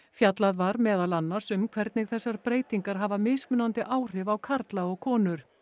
fjallað var meðal annars um hvernig þessar breytingar hafa mismunandi áhrif á karla og konur